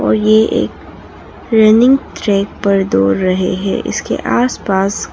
और ये एक रनिंग ट्रैक पर दौड़ रहे है इसके आस पास--